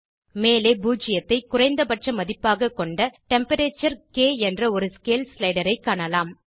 மேலே பூஜ்ஜியத்தை குறைந்தபட்ச மதிப்பாக கொண்ட Temperature என்ற ஒரு ஸ்கேல் ஸ்லைடரைக் காணலாம்